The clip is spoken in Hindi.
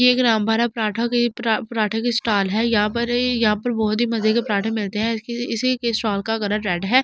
ये एक रामभारा पराठा की पराठे की स्टॉल है यहां पर यहां पर बहुत ही मजे के पराठे मिलते हैं इसी के स्टॉल का कलर रेड है।